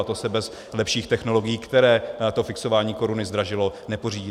A to se bez lepších technologií, které to fixování koruny zdražilo, nepořídí.